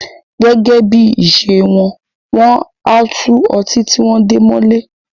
Gẹ́gẹ́ bí ìṣe wọn, wọ́n á tú ọtí tí wón de mọ ilé